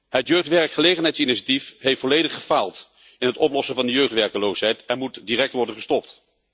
Het Jeugdwerkgelegenheidsinitiatief heeft volledig gefaald bij het oplossen van de jeugdwerkeloosheid en moet direct worden gestopt.